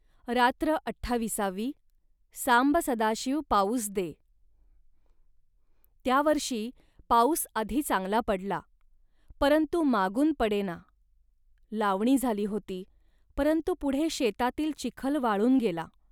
रात्र अठ्ठाविसावी सांब सदाशिव पाऊस दे..त्या वर्षी पाऊस आधी चांगला पडला, परंतु मागून पडेना. लावणी झाली होती, परंतु पुढे शेतातील चिखल वाळून गेला